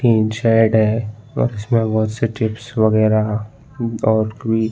तीन शेड है और इसमें बोहत से चिप्स वगेरा और कुई --